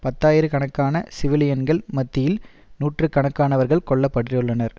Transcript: பத்தாயிர கணக்கான சிவிலியன்கள் மத்தியில் நூற்று கணக்கானவர்கள் கொல்ல பட்டுள்ளனர்